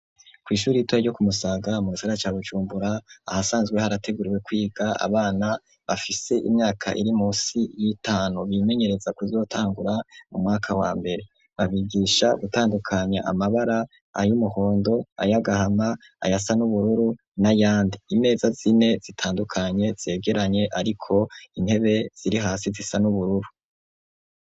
Kwishure ritoye ryo ku Musaga mugisagara ca Bujumbura ahasanzwe harateguriwe kwiga abana bafise imyaka iri munsi y'itanu bimenyereza kuzotangura mu mwaka wa mbere, babigisha gutandukanya amabara ay'umuhondo, ay'agahama ayasa n'ubururu na yandi .Imeza zine zitandukanye zegeranye ariko intebe ziri hasi zisa n'ubururu.